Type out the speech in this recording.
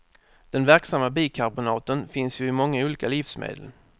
Den verksamma bikarbonaten finns ju i många olika livsmedel.